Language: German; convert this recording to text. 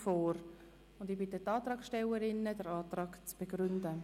Ich bitte die Antragstellerinnen, den Antrag zu begründen.